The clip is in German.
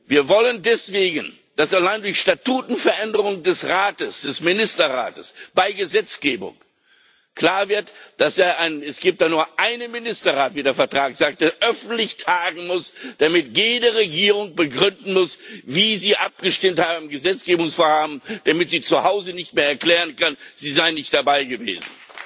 Wir wollen deswegen, dass allein durch Statutenveränderung des Rates, des Ministerrates, bei Gesetzgebung klar wird Es gibt ja nur einen Ministerrat, wie der Vertrag sagt, der öffentlich tagen muss, damit jede Regierung begründen muss, wie sie abgestimmt hat in einem Gesetzgebungsvorhaben, damit sie zu Hause nicht mehr erklären kann, sie sei nicht dabei gewesen.